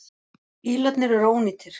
Bílarnir eru ónýtir.